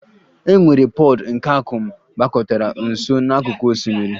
E nwere pod nke akum gbakọtara nso n'akụkụ osimiri